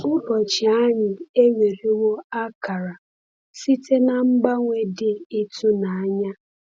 Ụbọchị anyị ewerewo akara site n’ mgbanwe dị ịtụnanya.